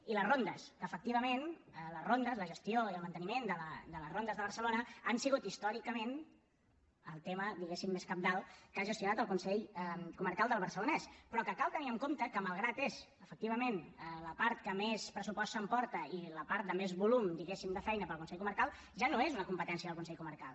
i les rondes que efectivament la gestió i el manteniment de les rondes de barcelona ha sigut històricament el tema diguem ne cabdal que ha gestionat el consell comarcal del barcelonès però cal tenir en compte que malgrat que és efectivament la part que més pressupost s’emporta i la part de més volum de feina per al consell comarcal ja no és una competència del consell comarcal